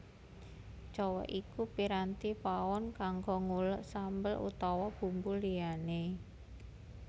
Cowèk iku piranti pawon kanggo nguleg sambel utawa bumbu liyané